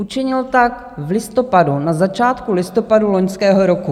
Učinil tak v listopadu, na začátku listopadu loňského roku.